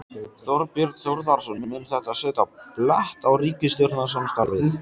Þorbjörn Þórðarson: Mun þetta setja blett á ríkisstjórnarsamstarfið?